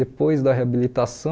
Depois da reabilitação,